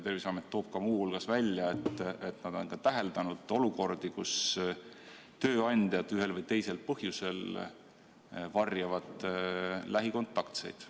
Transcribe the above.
Terviseamet ütleb muu hulgas, et nad on täheldanud olukordi, kus tööandjad ühel või teisel põhjusel varjavad lähikontaktseid.